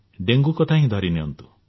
dengue କଥା ହିଁ ଧରି ନିଅନ୍ତୁ